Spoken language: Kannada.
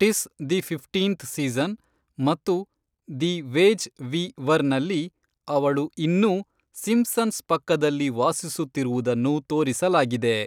ಟಿಸ್ ದಿ ಫಿಫ್ಟೀನ್ತ್ ಸೀಸನ್ ಮತ್ತು "ದಿ ವೇಜ್ ವಿ ವರ್" ನಲ್ಲಿ ಅವಳು ಇನ್ನೂ ಸಿಂಪ್ಸನ್ಸ್ ಪಕ್ಕದಲ್ಲಿ ವಾಸಿಸುತ್ತಿರುವುದನ್ನು ತೋರಿಸಲಾಗಿದೆ.